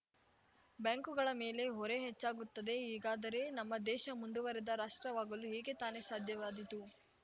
ಬ್ಯಾಂಕುಗಳ ಮೇಲೆ ಹೊರೆ ಹೆಚ್ಚಾಗುತ್ತದೆ ಹೀಗಾದರೆ ನಮ್ಮ ದೇಶ ಮುಂದುವರೆದ ರಾಷ್ಟ್ರವಾಗಲು ಹೇಗೆ ತಾನೇ ಸಾಧ್ಯವಾದಿತು